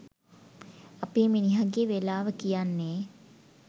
අපේ මිනිහගෙ වෙලාව කියන්නෙ